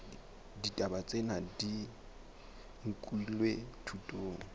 ditaba tsena di nkilwe thutong